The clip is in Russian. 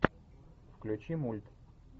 включи мульт